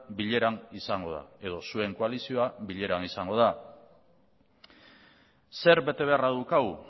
bileran izango da edo zuen koalizioa bileran izango da zer betebeharra daukagu